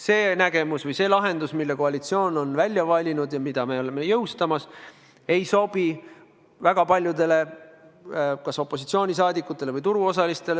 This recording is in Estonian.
See nägemus või see lahendus, mille koalitsioon on välja valinud ja mida me oleme jõustamas, ei sobi väga paljudele opositsioonisaadikutele ja turuosalistele.